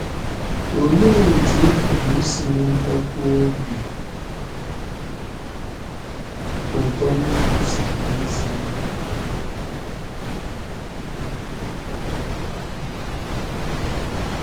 Olee otú ị pụrụ isi nwetakwuo obi ụtọ n’ikwusa alaeze ahụ?